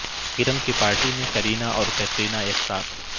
کرن کی پارٹی میں کرینہ اور قطرینہ ایک ساتھ